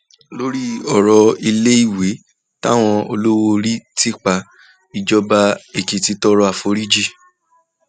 lórí ọrọ iléèwé táwọn olówóorí ti pa ìjọba èkìtì tọrọ àforíjì